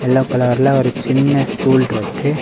Yellow கலர்ல ஒரு சின்ன ஸ்டூல் இருக்கு.